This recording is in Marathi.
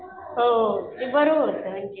हो ते बरोबर होतं